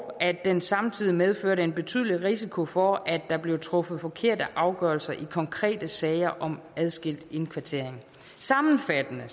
at den samtidig medførte en betydelig risiko for at der blev truffet forkerte afgørelser i konkrete sager om adskilt indkvartering sammenfattende